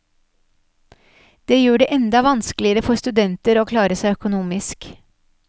Det gjør det enda vanskeligere for studenter å klare seg økonomisk.